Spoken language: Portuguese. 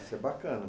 Isso é bacana.